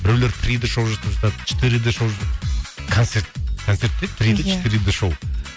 біреулер три д шоу жасап жатады четыре д шоу концерт концерт пе еді четыре д шоу